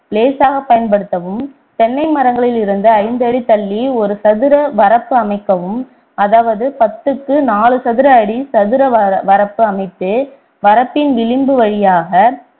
லேசாக பயன்படுத்தவும் தென்னை மரங்களில் இருந்து ஐந்து அடி தள்ளி ஒரு சதுர வரப்பு அமைக்கவும் அதாவது பத்துக்கு நாளு சதுர அடி சதுர வர~ வரப்பு அமைத்து வரப்பின் விளிம்பு வழியாக